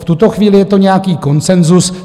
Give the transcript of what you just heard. V tuto chvíli je to nějaký konsenzus.